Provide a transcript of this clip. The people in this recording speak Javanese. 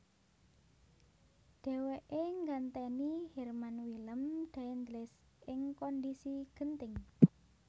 Dhèwèké nggantèni Herman Willem Daendels ing kondhisi genting